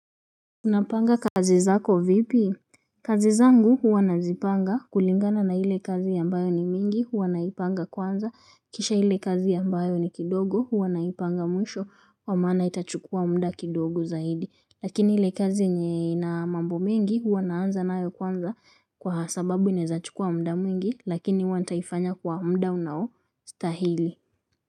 Unapanga kazi zako vipi? Kazi zangu huwa nazipanga kulingana na ile kazi ambayo ni mingi huwa naipanga kwanza. Kisha hile kazi ambayo ni kidogo huwa naipanga mwisho wa maana itachukua muda kidogo zaidi. Lakini ile kazi yenye na mambo mingi huwa naanza naayo kwanza kwa sababu inezachukua mda mingi lakini huwa ntaifanya kwa mda unao stahili.